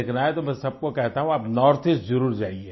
देखना है तो मैं सबको कहता हूँ आप नॉर्थ ईस्ट जरुर जाइए